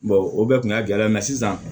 o bɛɛ kun y'a gɛlɛya ye sisan